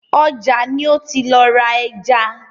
Ọjà ni ó ti lọ ra ẹja.